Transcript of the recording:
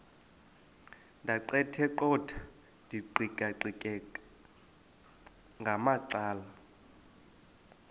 ndaqetheqotha ndiqikaqikeka ngamacala